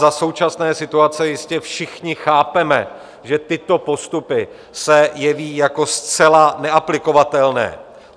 Za současné situace jistě všichni chápeme, že tyto postupy se jeví jako zcela neaplikovatelné.